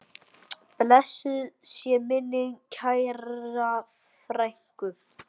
Blessuð sé minning kærrar frænku.